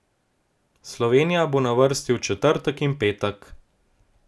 Slovenija bo na vrsti v četrtek in petek.